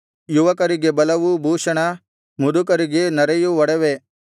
ಯುವಕರಿಗೆ ಬಲವು ಭೂಷಣ ಮುದುಕರಿಗೆ ನರೆಯು ಒಡವೆ